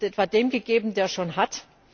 Wird etwa dem gegeben, der schon hat?